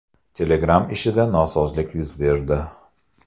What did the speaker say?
Telegram ishida nosozlik yuz berdi.